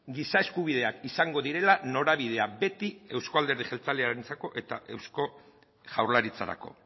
giza eskubideak izango direla norabidea beti euzko alderdi jeltzalearentzako eta eusko jaurlaritzarako